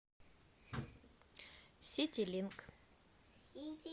ситилинк